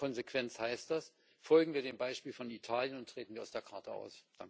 In der Konsequenz heißt das Folgen wir dem Beispiel von Italien und treten wir aus der Charta aus!